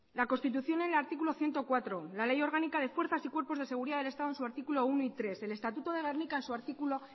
la constitución en el artículo ciento cuatro la ley orgánica de fuerzas y cuerpos de seguridad del estado en su artículo uno y tres el estatuto de gernika en su artículo